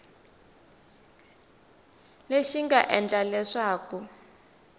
lexi xi nga endla leswaku